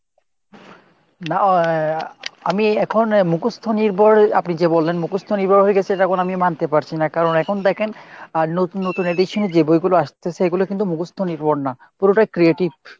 না আহ আমি এখন মুখস্ত নির্ভর আপনি যে বললেন মুখস্ত নির্ভর হয়ে গেছে এটা এখন আমি মানতে পারছি না কারণ এখন দেখেন নতুন নতুন edition এর যে বইগুলা আসতেছে , এগুলো কিন্তু মুখস্ত নির্ভর না , পুরোটাই creative.